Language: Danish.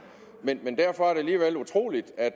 men derfor er det alligevel utroligt at